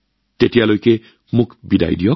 আজিলৈ মই আপোনালোকৰ পৰা বিদায় লৈছো